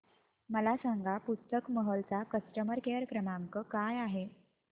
मला सांगा पुस्तक महल चा कस्टमर केअर क्रमांक काय आहे